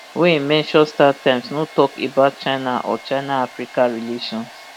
wey mention startimes no tok about china or chinaafrica relations